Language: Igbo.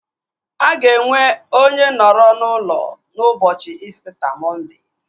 Aga enwe onye nọrọ n'ụlọ n'ụbọchị İsita Mọnde